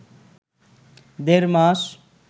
দেড় মাস